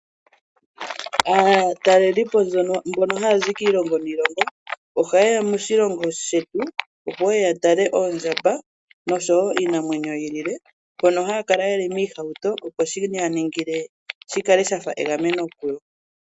Aatalelipo mbono haya zi kiilongo niilongo, ohayeya moshilongo shetu opo yeye yatale oondjamba noshowoo iinamwenyo yilwe. Mbono haya kala yeli miihauto opo shi kale shafa megameno kuyo.